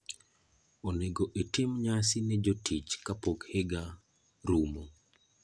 Onego itim nyasi ne jotichi kapok higa rumo.